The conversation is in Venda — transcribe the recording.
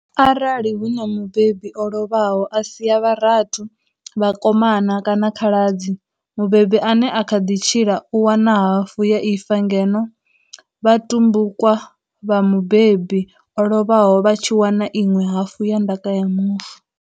Arali hu na mubebi o lovhaho, a sia vharathu, vhakomana kana khala dzi, mubebi ane a kha ḓi tshila u wana hafu ya ifa ngeno vhatumbukwa vha mubebi o lovhaho vha tshi wana iṅwe hafu ya ndaka ya mufu.